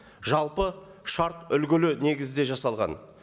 жалпы шарт үлгілі негізде жасалған